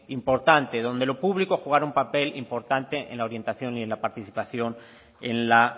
importante donde lo público jugara un papel importante en la orientación y en la participación en la